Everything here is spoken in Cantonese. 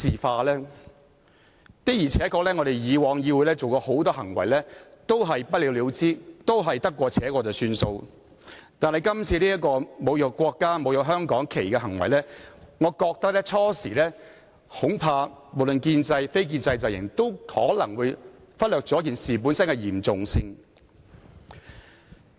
議會以往對許多議員曾經作出的行為確是不了了之、得過且過，但今次的行為涉及侮辱國家國旗、香港區旗，我恐怕建制及非建制陣營起初均可能忽略了事情的嚴重性。